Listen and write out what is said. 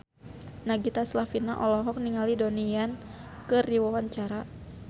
Nagita Slavina olohok ningali Donnie Yan keur diwawancara